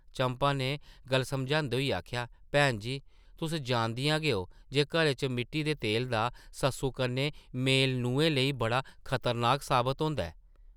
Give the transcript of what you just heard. चंपा नै गल्ल समझांदे होई आखेआ, भैन जी, तुस जानदियां गै ओ जे घरै च मिट्टी दे तेलै दा सस्सु कन्नै मेल नुहें लेई बड़ा खतरनाक साबत होंदा ऐ ।